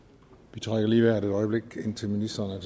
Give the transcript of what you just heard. vi trækker lige vejret et øjeblik indtil ministeren